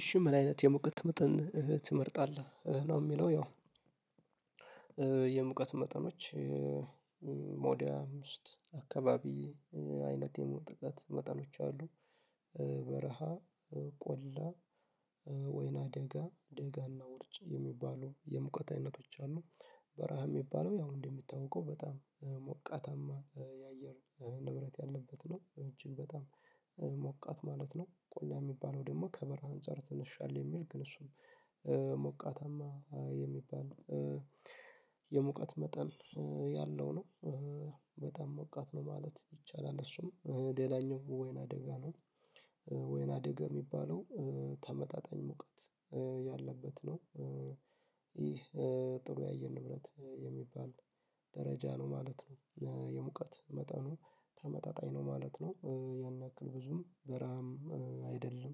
እሺ ምን አይነት የሙቀት መጠን ትመርጣለህ? ነው የሚለው ያው የሙቀት መጠኖች ወደ አምስት አካባቢ አይነት የሙቀት መጠኖች አሉ። በረሃ ቆላ ወይና ደጋ ደጋና ውርጭ የሚባሉ የሙቀት አይነቶች አሉ። በረሃ የሚባለው ያው እንደሚታወቀው በጣም ሞቃታማ የአየር ንብረት ያለበት ነው እጅግ በጣም ሞቃት ማለት ነው። ቆላ የሚባለው ደግሞ ከበረሀ አንፃር ትንሽ ሻል የሚል ግን እሱ ሞቃተማ የሚባል የሙቀት መጠን ያለው ነው በጣም ሞቃት ነው ማለት ይቻላል። እሱም ሌላኛው ወይናደጋ ነው። ወይናደጋ የሚባለው ተመጣጣኝ ሙቀት ያለበት ነው። ይህ ጥሩ የአየር ንብረት የሚባል ደረጃ ነው ማለት ነው የሙቀት መጠኑ ተመጣጣኝ ነው ማለት ነው ያን ያክል ብዙም በረሃም አይደለም።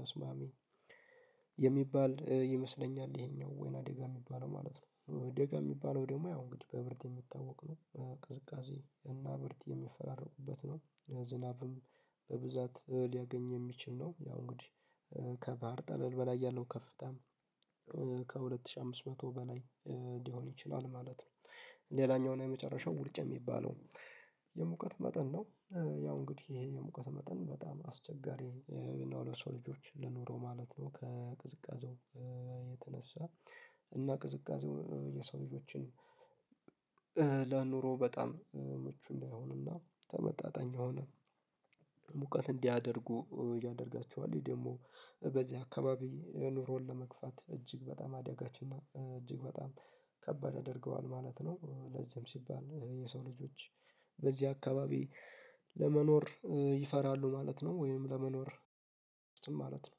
ተስማሚ የሚባል ይመስለኛል ይሄኛው ወይናደጋ የሚባለው ማለት ነው። ደጋ የሚባለው ደግሞ ያው እንግዲህ በብርድ የሚታወቅ ነው ቅዝቃዜ እና ብርድ የሚፈራረቁበት ነው ዝናብም በብዛት ሊያገኝ የሚችል ነው። ያው እንግዲህ ከባህር ጠለል በላይ ያለው ከፍታም ከሁለት ሺህ አምስት መቶ በላይ ሊሆን ይችላል ማለት ነው። ሌላኛውና የመጨረሻው ውርጭ የሚባለው የሙቀት መጠን ነው። ያው እንግዲህ ይሄ የሙቀት መጠን በጣም አስቸጋሪ የሆኑ ለሰው ልጆች ለኑሮ ማለት ነው። ከቅዝቃዜው የተነሳ እና ቅዝቃዜው የሰው ልጆችን ለኑሮ በጣም ምቹ እንዳይሆንና ተመጣጣኝ ሆነ ሙቀት እንዲያደርጉ ያደርጋቸዋል ይሄ ደግሞ በዚህ አካባቢ ኑሮን ለመግፋት እጅግ በጣም አደጋችን እና እጅግ በጣም ከባድ ያደርገዋል ማለት ነው። ለዚም ሲባል የሰው ልጆች በዚህ አካባቢ ለመኖር ይፈራሉ ማለት ነው። ወይንም ለመኖር ማለት ነው።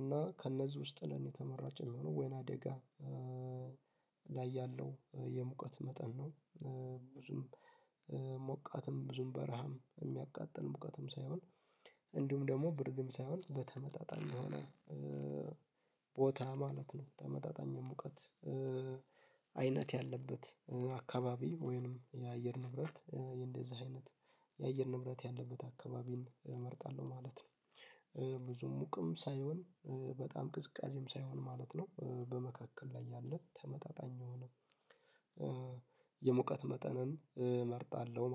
እና ከእነዚህ ውስጥ ለኔ ተመራጭ የሚሆነው ወይናደጋ ላይ ያለው የሙቀት መጠን ነው። ብዙም ሞቃትም ብዙም በረሃም የሚያቃጥል ሙቀትም ሳይሆን እንዲሁም ደግሞ ብርድም ሳይሆን በተመጣጣኝ የሆነ ቦታ ማለት ነው። ተመጣጣኝ ሙቀት አይነት ያለበት አካባቢ ወይንም የአየር ንብረት እንደዚህ አይነት የአየር ንብረት ያለበት አካባቢን እመርጣለሁ ማለት ነው። ብዙ ሙቅም ሳይሆን በጣም ቅዝቃዜም ሳይሆን ማለት ነው በመካከል ላይ ያለ ተመጣጣኝ የሆነ የመውቀት መጠንን እመርጣለሁ